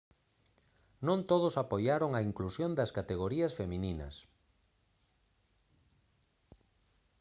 non todos apoiaron a inclusión das categorías femininas